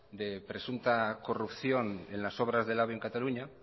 de presunta corrupción en las obras del ave en cataluña